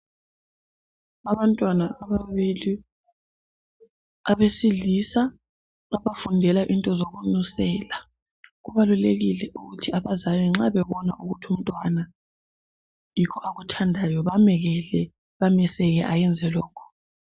Abantwana ababili abesilisa abafundela into zokunusela kubalulekile ukuthi abazali nxa bebona ukuthi umntwana yikho akuthandayo bamekele bameseke ayenze lokhu.